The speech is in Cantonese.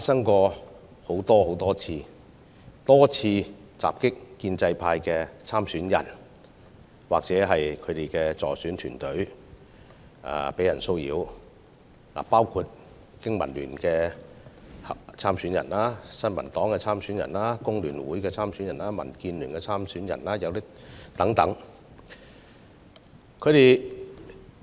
他們多次襲擊建制派參選人或騷擾其助選團隊，當中包括香港經濟民生聯盟的參選人、新民黨的參選人、香港工會聯合會的參選人和民主建港協進聯盟的參選人等。